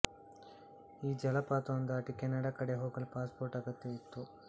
ಈ ಜಲಪಾತವನ್ನು ದಾಟಿ ಕೆನಡಾ ಕಡೆ ಹೋಗಲು ಪಾಸ್ ಪೋರ್ಟ್ ಅಗತ್ಯವಿತ್ತು